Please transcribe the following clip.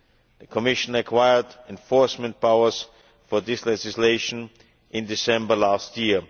The Commission acquired enforcement powers for this legislation in December last year.